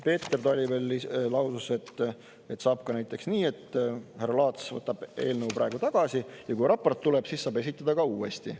Peeter Tali veel lausus, et saab ka näiteks nii, et härra Laats võtab eelnõu praegu tagasi ja kui raport tuleb, siis saab esitada ka uuesti.